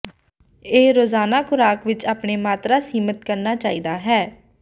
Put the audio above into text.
ਇਹ ਰੋਜ਼ਾਨਾ ਖੁਰਾਕ ਵਿੱਚ ਆਪਣੇ ਮਾਤਰਾ ਸੀਮਤ ਕਰਨਾ ਚਾਹੀਦਾ ਹੈ